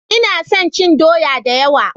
Ina son cin doya da yawa.